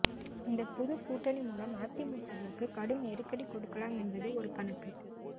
இந்த புதுக் கூட்டணி மூலம் அதிமுகவிற்கு கடும் நெருக்கடி கொடுக்கலாம் என்பது ஒரு கணக்கு